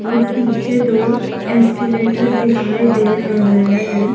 और पीछे दो एस्केलेटर दिखाई दे रहे हैं।